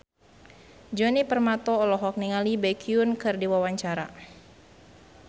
Djoni Permato olohok ningali Baekhyun keur diwawancara